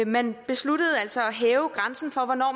man besluttede altså at hæve grænsen for hvornår